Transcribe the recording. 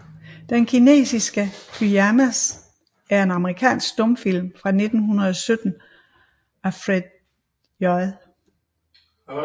Den kinesiske Pyjamas er en amerikansk stumfilm fra 1917 af Fred J